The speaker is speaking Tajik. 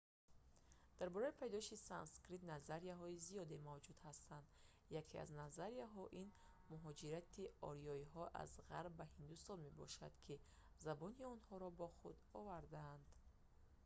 дар бораи пайдошавии санскрит назарияҳои зиёде мавҷуд ҳастанд яке аз назарияҳо ин муҳоҷирати ориёиҳо аз ғарб ба ҳиндустон мебошад ки забони онҳоро бо худ овардаанд